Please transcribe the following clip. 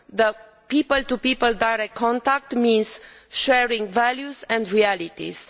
The people to people direct contact means sharing values and realities.